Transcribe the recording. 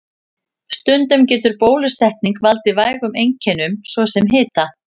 Stundum getur bólusetning valdið vægum einkennum, svo sem hita.